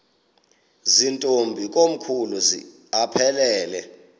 zirntombi komkhulu aphelela